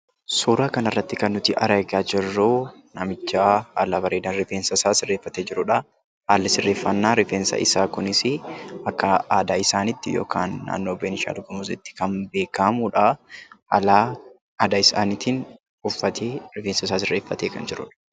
Suuraa kanarratti kan nuti argaa jirru, namicha haala bareedaan rifeensasaa sirreeffate jirudha. Haalli sirreeffannaa rifeensa isaa kunis akka aadaa isaanitti yookaan naannoo benishangul gumuzitti kan beekkamudha. Haala aadaa isaaniitiin uffatee, rifeensasaa sirreeffatee kan jirudha.